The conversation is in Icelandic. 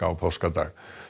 á páskadag